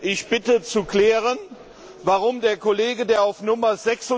Ich bitte zu klären, warum der Kollege, der auf Nr.